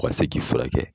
O ka se k'i furakɛ